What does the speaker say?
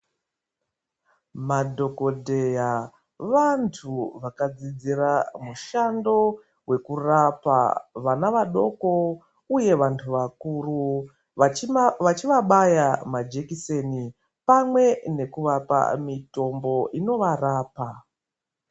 Madhokodheya vantu vakadzidzira mushando wavo wekurapa vantu vadoko uye vantu vakuru vachivabaya majekiseni pamwe nekuvapa mitombo inovarapa.